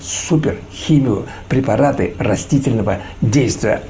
супер химио препараты растительного действия